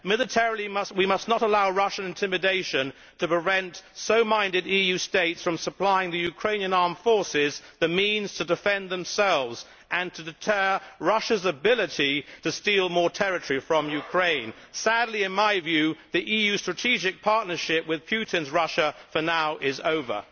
Militarily, we must not allow Russian intimidation to prevent so minded EU states from supplying the Ukrainian armed forces the means to defend themselves and to deter Russia's ability to steal more territory from Ukraine. Sadly, in my view, the EU strategic partnership with Putin's Russia, for now, is over.